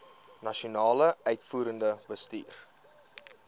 nasionale uitvoerende bestuur